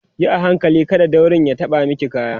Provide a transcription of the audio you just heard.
Yi a hankali kada daurin ya ɓata maki kaya